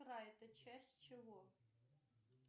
рай это часть чего